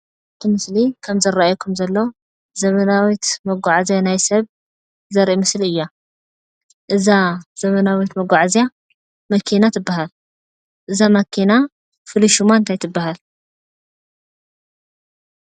እቲ ምስሊ ከም ዝረኣየኩም ዘሎ ዘመናዊት መጓዓዝያ ናይ ሰብ ዘርኢ ምስሊ እያ። እዛ ዘመናዊት መጓዓዝያ መኪና ትባሃል። እዛ መኪና ፍሉይ ሽማ እንታይ ትባሃል?